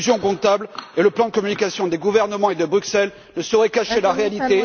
L'illusion comptable et le plan de communication des gouvernements et de Bruxelles ne sauraient cacher la réalité.